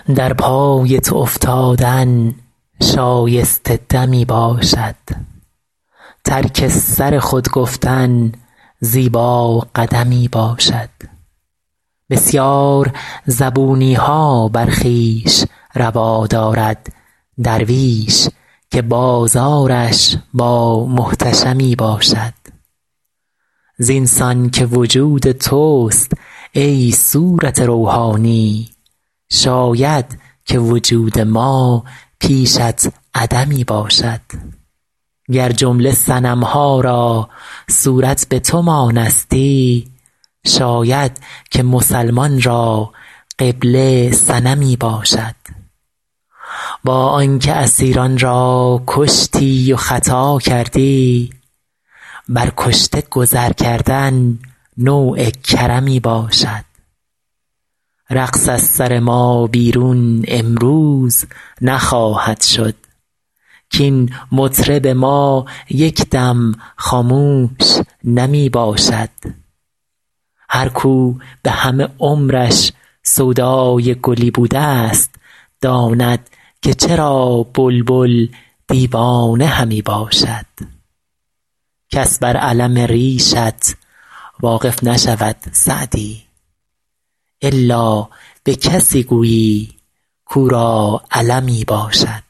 در پای تو افتادن شایسته دمی باشد ترک سر خود گفتن زیبا قدمی باشد بسیار زبونی ها بر خویش روا دارد درویش که بازارش با محتشمی باشد زین سان که وجود توست ای صورت روحانی شاید که وجود ما پیشت عدمی باشد گر جمله صنم ها را صورت به تو مانستی شاید که مسلمان را قبله صنمی باشد با آن که اسیران را کشتی و خطا کردی بر کشته گذر کردن نوع کرمی باشد رقص از سر ما بیرون امروز نخواهد شد کاین مطرب ما یک دم خاموش نمی باشد هر کاو به همه عمرش سودای گلی بوده ست داند که چرا بلبل دیوانه همی باشد کس بر الم ریشت واقف نشود سعدی الا به کسی گویی کاو را المی باشد